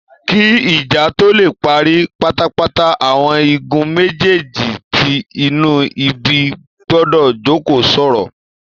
Kí ìjà tó lè parí pátápátá, àwọn igun méjèjèjì tí inú ń bí gbọdọ̀ jókòó sọ̀rọ̀